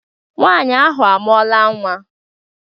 Nwanyi ahụ amụọla nwa